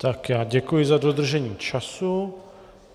Tak, já děkuji za dodržení času.